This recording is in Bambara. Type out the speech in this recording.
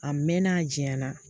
A mɛɛnna a janyana